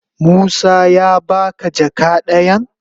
Musa ya ba ka jaka dayan?